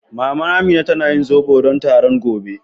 Mama Amina tana yin zobo don taron mata gobe.